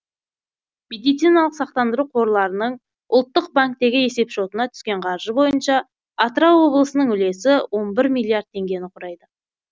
медициналық сақтандыру қорларының ұлттық банктегі есепшотына түскен қаржы бойынша атырау облысының үлесі он бір миллиард теңгені құрайды